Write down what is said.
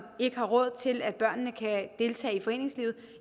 ikke har råd til at børnene kan deltage i foreningslivet